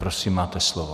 Prosím, máte slovo.